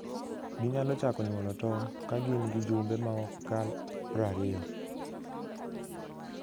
Ginyalo chako nyuolo tong' ka gin gi jumbe maok kal prariyo.